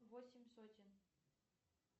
восемь сотен